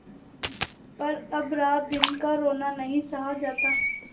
पर अब रातदिन का रोना नहीं सहा जाता